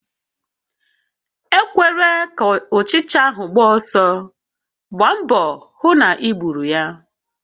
Ekwela ka ụchịcha ahụ gbaa ọsọ, gbaa mbọ hụ na I gbùrù ya!